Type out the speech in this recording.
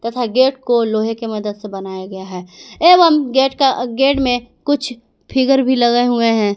तथा गेट को लोहे के मदद से बनाया गया हैं एवं गेट में कुछ फिगर भी लगे हुए है।